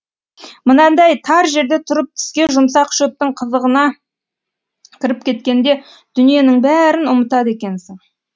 мынадай тар жерде тұрып тіске жұмсақ шөптің қызығына кіріп кеткенде дүниенің бәрін ұмытады екенсің